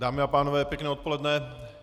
Dámy a pánové, pěkné odpoledne.